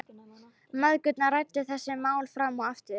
Mæðgurnar ræddu þessi mál fram og aftur.